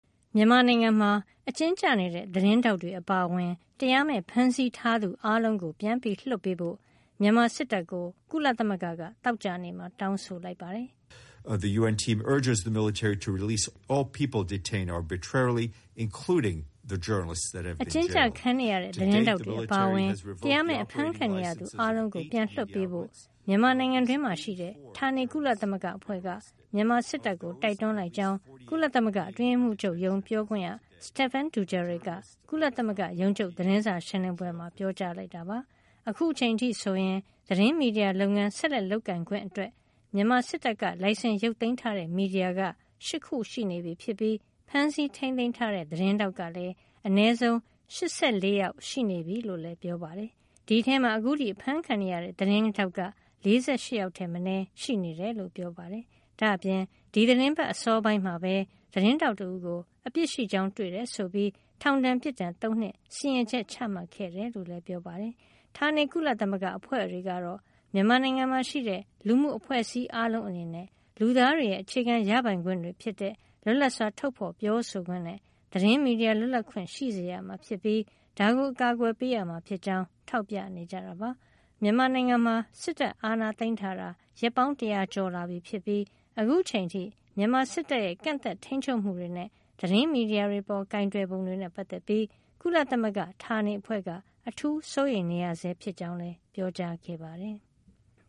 မြန်မာနိုင်ငံမှာ အကျဉ်းကျနေတဲ့ သတင်းထောက်တွေ အပါအဝင် တရားမဲ့ဖမ်းဆီးထားသူ အားလုံးကို ပြန်ပြီးလွှတ်ပေးဖို့ မြန်မာစစ်တပ်ကို ကုလသမဂ္ဂက သောကြာနေ့မှာ တောင်းဆိုလိုက်ပါတယ်။ အကျဉ်းကျခံနေရတဲ့ သတင်းထောက်တွေ အပါအဝင် တရားမဲ့အဖမ်းခံနေရသူ အားလုံးကို ပြန်လွှတ်ပေးဖို့ မြန်မာနိုင်ငံတွင်းမှာ ရှိတဲ့ ဌာနေ ကုလသမဂ္ဂအဖွဲ့က မြန်မာစစ်တပ်ကို တိုက်တွန်းလိုက်ကြောင်း ကုလသမဂ္ဂအတွင်းရေးမှုးချုပ်ရုံး ပြောခွင့်ရ Stephane Dujarric က ကုလသမဂ္ဂရုံးချုပ် သတင်းစာ ရှင်းလင်းပွဲမှာ ပြောကြားလိုက်တာပါ။ အခုချိန်အထိဆိုရင် သတင်းမီဒီယာလုပ်ငန်း ဆက်လက်လုပ်ကိုင်ခွင့်အတွက် မြန်မာစစ်တပ်က လိုင်စင် ရုတ်သိမ်းထားတဲ့ မီဒီယာက ၈ ခုရှိနေပြီဖြစ်ပြီး ဖမ်းဆီးထိမ်းသိမ်းထားတဲ့ သတင်းထောက်ကလည်း အနည်းဆုံး ၈၄ ယောက် ရှိနေပြီလို့လည်း ပြောပါတယ်။ အဲဒီထဲမှာ အခုထိ အဖမ်းခံနေရဆဲ သတင်းထောက်က ၄၈ ယောက်ထက် မနည်း ရှိနေတယ်လို့ ပြောပါတယ်။ ဒါ့အပြင် ဒီသီတင်းပတ်အစောပိုင်းမှာပဲ သတင်းထောက် တဦးကို အပြစ်ရှိကြောင်း တွေ့ရှိခဲ့တယ် ဆိုပြီး ထောင်ဒဏ် ပြစ်ဒဏ် ၃ နှစ် စီရင်ချက် ချမှတ်ခဲ့တယ်လို့လည်း ပြောပါတယ်။ ဌာနေကုလသမဂ္ဂအဖွဲ့တွေကတော့ မြန်မာနိုင်ငံမှာ ရှိတဲ့လူမှုအဖွဲ့အစည်းအားလုံးအနေနဲ့ လူသားတွေရဲ့ အခြေခံ ရပိုင်ခွင့်တွေဖြစ်တဲ့ လွတ်လပ်စွာ ထုတ်ဖေါ်ပြောဆိုခွင့်နဲ့ သတင်းမီဒီယာ လွတ်လပ်ခွင့်ရှိစေရမှာ ဖြစ်ပြီး ဒါကို အကာကွယ်ပေးရမှာ ဖြစ်ကြောင်း ထောက်ပြနေကြတာပါ။ မြန်မာနိုင်ငံမှာ စစ်တပ်အာဏာသိမ်းထားတာ ရက်ပေါင်း တရာကျော်လာပြီဖြစ်ပြီး အခုချိန်အထိ မြန်မာစစ်တပ်ရဲ့ ကန့်သတ် ထိမ်းချုပ်မှုတွေနဲ့ သတင်းမီဒီယာတွေ အပေါ်ကိုင်တွယ်ပုံတွေနဲ့ ပတ်သက်ပြီး ကုလသမဂ္ဂဌာနေအဖွဲ့က အထူးစိုးရိမ်နေရဆဲဖြစ်ကြောင်း လည်း ပြောကြားခဲ့ပါတယ်။